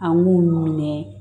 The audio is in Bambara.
An b'u minɛ